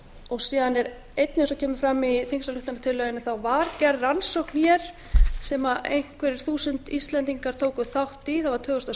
og síðan kemur einnig fram í þingsályktunartillögunni að það var gerð rannsókn hér sem einhver þúsund íslendingar tóku þátt í það var tvö þúsund og